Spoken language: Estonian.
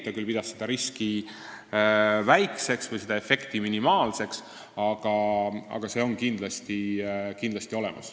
Ta küll pidas seda riski väikseks või seda efekti minimaalseks, aga see on kindlasti olemas.